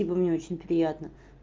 спасибо мне очень приятно